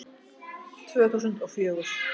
Tvö þúsund og fjögur